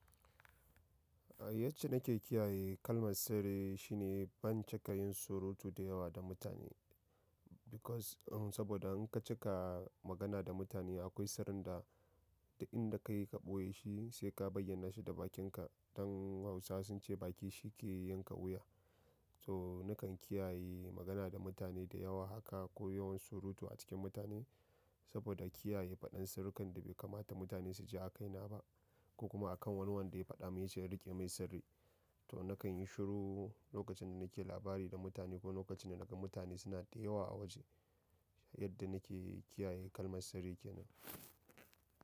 Yacce nake kiyaye kalmar sirri shine ban cika yin surutu da yawa da mutane. Because, saboda in ka cika magana da mutane akwai sirrin da, duk inda ka yi ka ɓoye shi sai ka bayyana shi da bakinka. Dan Hausa sun ce baki shi ke yanka wuya. So nakan kiyaye magana da mutane da yawa haka ko yawan surutu a cikin mutane saboda kiyaye faɗan sirrukan da bai kamata mutane su ji a kaina ba ko kuma a kan wani wanda ya faɗa mun ya ce in riƙe mai sirri. To nakan yi shiru lokacin da nake labari da mutane ko lokacin da naga mutane suna da yawa a waje. Yadda nake kiyaye kalmar sirri kenan.